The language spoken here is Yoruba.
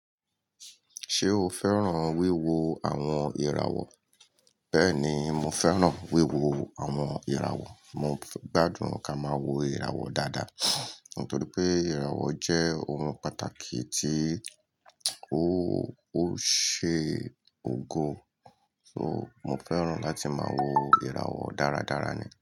Ṣé o fẹ́ràn wíwo àwọn ìràwọ̀? Bẹ́ẹ̀ni, mo fẹ́ràn wíwo àwọn ìràwọ̀. Mo gbádùn ká máa wo ìràwọ̀ dáadáa, nítorí pé ìràwọ̀ jẹ́ ohun pàtàkì tí ó ṣe ògo. So, mo fẹ́ràn láti máa wo ìràwọ̀ dáradára ni.